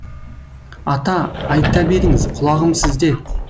ата айта беріңіз құлағым сізде